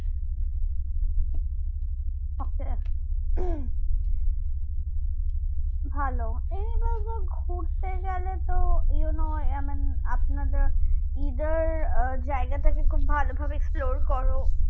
আচ্ছা হম ভালো এই বছর ঘুরতে গেলে তো you know এমন আপনাদের ই দের জায়গা তাকে খুব ভাল ভাবে explorer করো